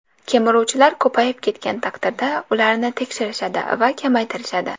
Kemiruvchilar ko‘payib ketgan taqdirda ularni tekshirishadi va kamaytirishadi.